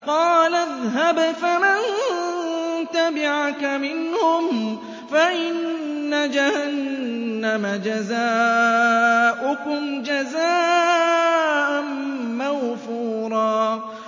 قَالَ اذْهَبْ فَمَن تَبِعَكَ مِنْهُمْ فَإِنَّ جَهَنَّمَ جَزَاؤُكُمْ جَزَاءً مَّوْفُورًا